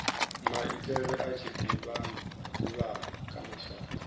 maitele a tshiḓivhano kha mashaka